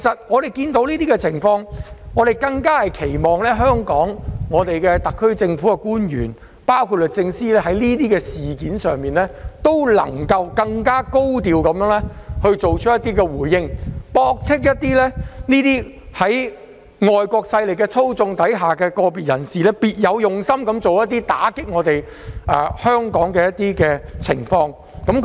眼見這種情況，我們更期望香港特區政府的官員包括律政司司長，能就這些事件作出更高調的回應，駁斥個別在外國勢力操縱下別有用心的人士種種打擊香港的言論和行為。